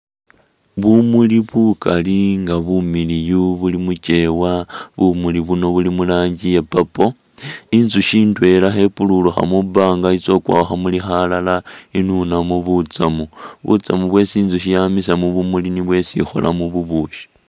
Bumuli bukali nga bumiliyu buli muchewa, bumuli buno buli murangi iya purple, inzushi indwela khepulurukha mubanga i'tsa khukwa khukhamuli khalala i'nunamo butsamu, butsamu bwesi inzushi yamisa mubumuli nibwo bwesi ikholamo bubushi